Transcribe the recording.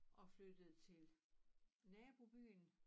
Og flyttede til nabobyen